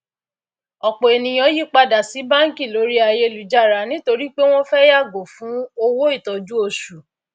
ọpọ ènìyàn yí padà sí banki lórí ayélujára nítorí pé wọn fẹ yàgò fún owó ìtọjú oṣù